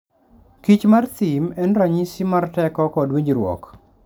kich mar thim en ranyisi mar teko kod winjruok.